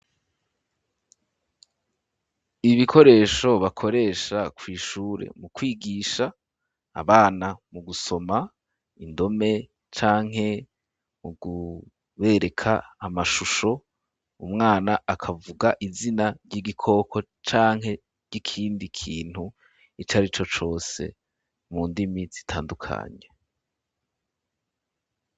Ibikoresho bakoresha kw'ishure mu kwigisha, abana mu gusoma indome canke mu kubereka amashusho, umwana akavuga izina ry'igikoko canke ry'ikindi kintu icarico cose mu ndimi zitandukanye.